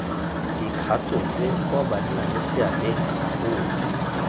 dikgato tse kwa bannaleseabeng bagolo